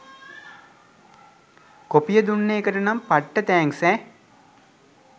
කොපිය දුන්න එකටනම් පට්ට තැන්ක්ස් ඈ.